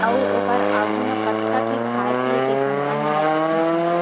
ओउ ओकर आगू म कतका ठी खाए-पिए के सामान मन ल राखीन हावे।